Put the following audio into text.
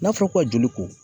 N'a fɔra ko ka joli ko